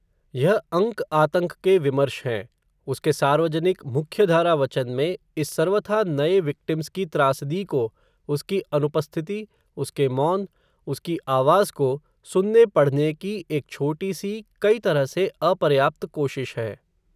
यह अंक आतंक के विमर्श है, उसके सार्वजनिक, मुख्यधारा वचन में, इस सर्वथा नये विक्टिम्स की त्रासदी को, उसकी अनुपस्थिति, उसके मौन, उसकी आवाज़ को, सुनने पढ़ने की एक छोटी सी, कई तरह से, अपर्याप्त कोशिश है